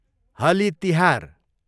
Holi Tihar